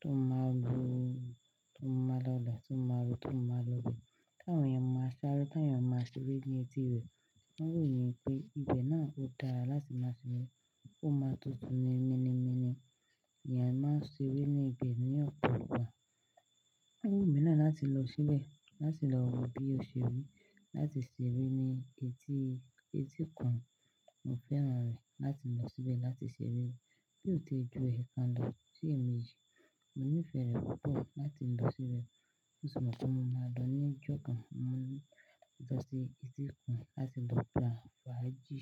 tó máa lu, tó máa lọlà, tó máa lu, tó máa lọ́bì. Tán èèyàn máa ṣeré, tán èèyàn máa ṣeré ní etí rẹ̀. Wọn wò mí pé ibẹ̀ náà ó dára láti máa ṣeré. Ó máa tútù ní mimi mími. Èèyàn máa ṣeré ní ibẹ̀ ní ọ̀pọ̀ ọ̀pọ̀. Wọ́n wò mí náà láti lọ síbẹ̀, láti lọ wo bí ó ṣe rí, láti ṣeré ní etí, etíkun. Mo fẹ́ràn rẹ̀ láti lọ síbẹ̀ láti ṣeré. Bí óò ti ju èékánná ọdún díẹ̀ méje, mo ní ìfẹ́ rẹ̀ púpọ̀ láti lọ síbẹ̀. Ó ṣùgbọ́n tí mo bá dán ní ọjọ́ kan, mo lè lọ sí etíkun láti lọ gbà fùágì.